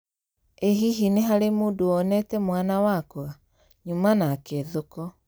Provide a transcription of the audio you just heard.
Ĩ hihi nĩ harĩ mũndũ wonete mwana wakwa? Nyuma nake thoko.